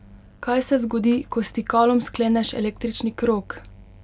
Kaj se zgodi, ko s stikalom skleneš električni krog?